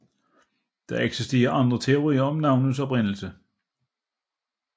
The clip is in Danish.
Der eksisterer andre teorier om navnets oprindelse